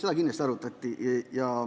Seda kindlasti arutati.